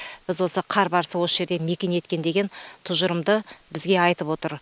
біз осы қар барысы осы жерде мекен еткен деген тұжырымды бізге айтып отыр